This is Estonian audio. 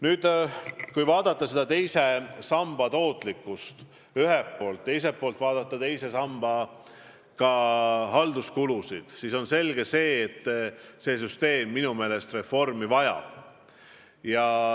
Nüüd, kui vaadata ühelt poolt teise samba tootlikkust ja teiselt poolt teise samba halduskulusid, siis on selge, et see süsteem reformi vajab.